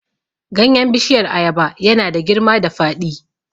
Ganyen bishiyar ayaba ya na da girma da faɗi